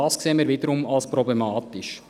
Das sehen wir wiederum als problematisch.